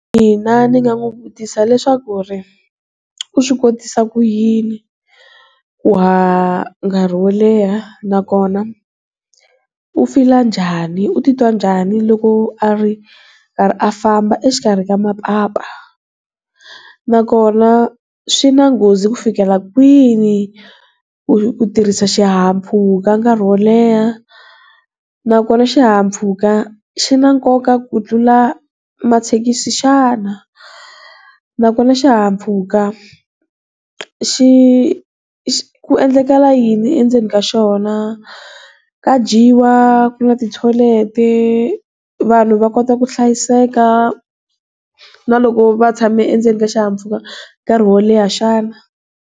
Mina ni nga n'wi vutisa leswaku ku ri u swi kotisa ku yini ku haha nkarhi wo leha nakona u feel-a njhani u titwa njhani loko a ri karhi a famba exikarhi ka mapapa nakona swi na nghozi ku fikela kwihi ku tirhisa xihahampfhuka nkarhi wo leha nakona xihahampfhuka xi na nkoka ku tlula mathekisi xana nakona xihahampfhuka xi ku endlakala yini endzeni ka xona ka dyiwa ku na ti-toilet vanhu va kota ku hlayiseka na loko va tshame endzeni ka xihahampfhuka nkarhi wo leha xana.